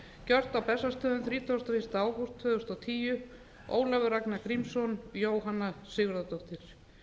gjört á bessastöðum þrítugasta og fyrsta ágúst tvö þúsund og tíu ólafur ragnar grímsson jóhanna sigurðardóttir